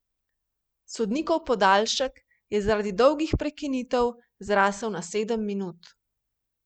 Sodnikov podaljšek je zaradi dolgih prekinitev zrasel na sedem minut.